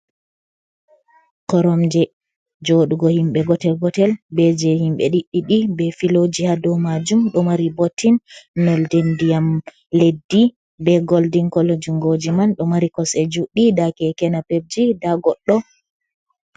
Korom je joɗugo himɓɓe gotel gotel, be je himɓɓe ɗiɗi ɗi be filoji ha dou majum, ɗo mari bottin nolde ndiyam leddi be goldin colo, jungoji man ɗo mari kosɗe juɗɗi nda kekena pebji, nda goɗɗo.